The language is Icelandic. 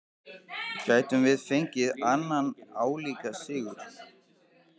Gætum við fengið annan álíka sigur?